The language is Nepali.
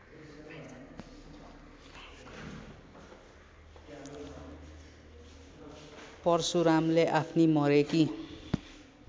परशुरामले आफ्नी मरेकी